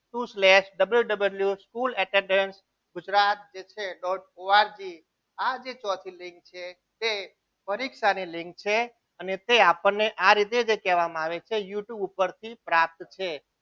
Two slash W W School Academy Gujarat જે છે dot ORG આજે ચોથી લીંક છે તે પરીક્ષાની લીંક છે અને તે આપણને જે આ રીતે કહેવામાં આવે છે youtube ઉપરથી પ્રાપ્ત છે.